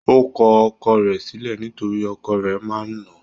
Ó kọ ọkọ rẹ̀ sílẹ̀ nítorí ọkọ̀ rẹ̀ máa ń nà án.